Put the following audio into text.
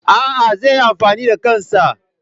A'a, zai yi amfani da kansa.